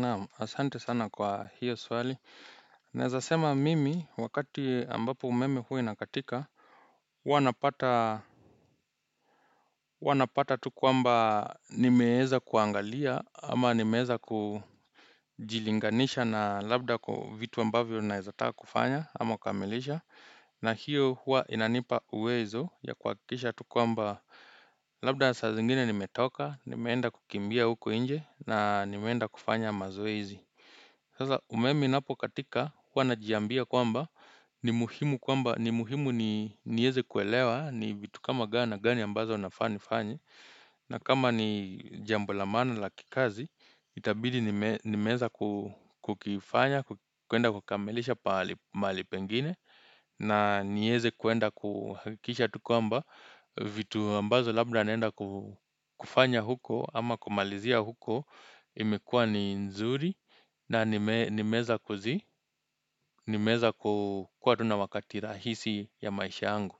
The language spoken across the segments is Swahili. Naam asante sana kwa hiyo swali Naezasema mimi wakati ambapo umeme hui nakatika Huanapata tu kuamba nimeeza kuangalia ama nimeeza kujilinganisha na labda kwa vitu ambavyo naezataka kufanya ama kamilisha na hiyo hua inanipa uwezo ya kuhakikisha tu kuamba Labda saa zingine nimetoka nimeenda kukimbia huko nje na nimeenda kufanya mazoezi Sasa umeme inapo katika huwa najiambia kwamba ni muhimu kwamba ni muhimu nieze kuelewa ni vitu kama gani gani ambazo unafani fanyi na kama ni jambo la maana la kikazi itabidi nimeza kukifanya kuenda kukamilisha pahali mahali pengine na nieze kuenda kuhakikisha tu kwamba vitu ambazo labda naenda kufanya huko ama kumalizia huko imekua ni nzuri na nimeeza kuzi, nimeeza kuwa tu na wakati rahisi ya maisha angu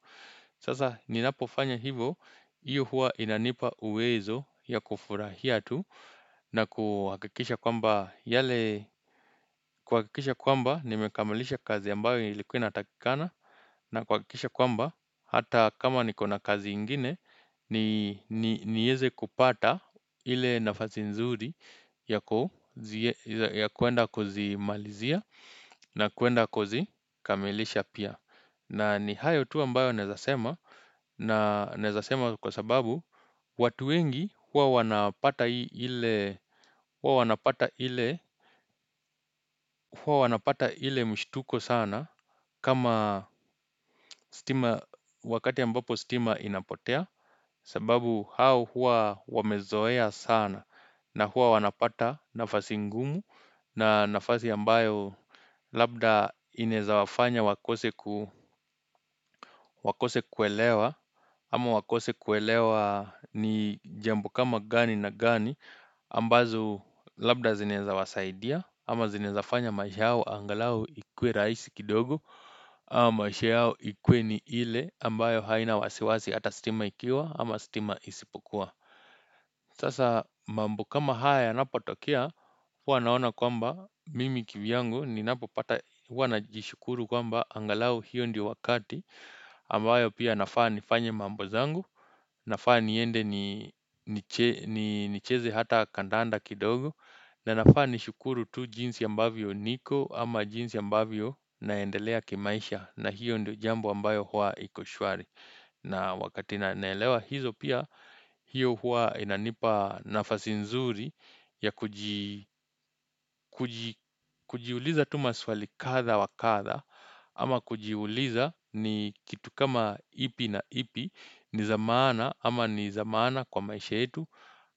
Sasa ninapofanya hivo, iyo hua inanipa uwezo ya kufurahia tu na kuhakikisha kwamba yale, kuhakikisha kwamba nimekamalisha kazi ambayo ilikuwa inatakikana na kuhakikisha kwamba, hata kama nikona kazi ingine nieze kupata ile nafasi nzuri ya kuenda kuzimalizia na kuenda kuzikamilisha pia na ni hayo tu ambayo naezasema na naezasema kwa sababu watu wengi huwa wanapata ile mshituko sana kama stima wakati ambapo stima inapotea sababu hao hua wamezoea sana na hua wanapata nafasi ngumu na nafasi ambayo labda inaeza wafanya wakose kuelewa ama wakose kuelewa ni jambo kama gani na gani ambazo labda zinaeza wasaidia ama zinaeza fanya maisha yao angalau ikuwe rahisi kidogo ama maisha yao ikuwe ni ile ambayo haina wasiwasi hata stima ikiwa ama stima isipokua Sasa mambo kama haya napotokea, hua naona kwamba mimi kivyangu ni napo pata hua na jishukuru kwamba angalau hiyo ndio wakati ambayo pia nafaa ni fanye mambo zangu, nafaa ni ende ni cheze hata kandanda kidogo na nafaa ni shukuru tu jinsi ambavyo niko ama jinsi ambavyo naendelea kimaisha na hiyo ndio jambo ambayo hua iko shwari. Na wakati naelewa hilo pia hiyo huwa inanipa nafasi nzuri ya kujiuliza tu maswali kadha wa kadha ama kujiuliza ni kitu kama ipi na ipi ni za maana ama nizamaana kwa maisha yetu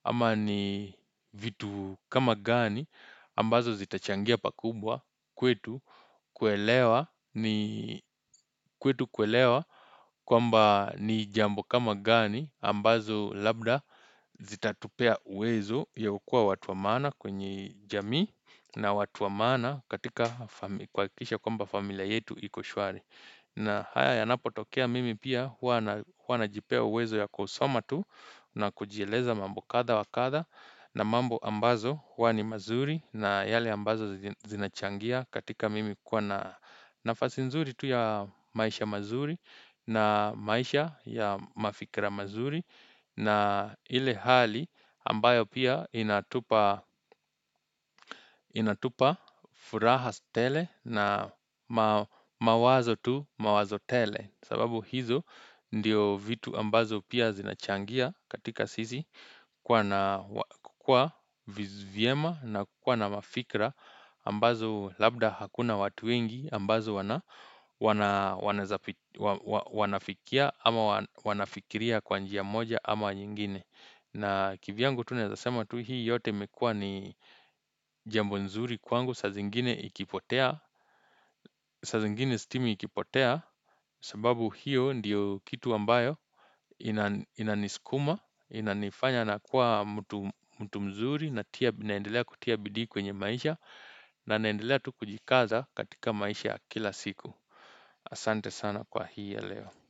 ama ni vitu kama gani ambazo zitachangia pakubwa kwetu kuelewa ni kwetu kuelewa kwamba ni jambo kama gani ambazo labda zitatupea uwezo ya ukua watuamana kwenye jamii na watu wa maana katika kuhakikisha kwamba familia yetu ikoshwari. Na haya yanapotokea mimi pia huwa na jipea uwezo ya kusoma tu na kujieleza mambo kadha wakadha na mambo ambazo huwa ni mazuri na yale ambazo zinachangia katika mimi kuwa na nafasi nzuri tu ya maisha mazuri na maisha ya mafikra mazuri na ile hali ambayo pia inatupa furaha tele na mawazo tu mawazo tele sababu hizo ndio vitu ambazo pia zinachangia katika sisi kuwa na kukua vyema na kukua na mafikra ambazo labda hakuna watu wengi ambazo wanafikia ama wanafikiria kwa njia moja ama nyingine na kivyangu tunaezasema tu hii yote imekua ni jambu nzuri kwangu Sazingine ikipotea, saa zingine stima ikipotea sababu hiyo ndiyo kitu ambayo inaniskuma Inanifanya na kuwa mtu mzuri ninaendelea kutia bidii kwenye maisha na naendelea tu kujikaza katika maisha kila siku Asante sana kwa hii ya leo.